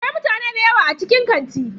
Akwai mutane da yawa a cikin kantin.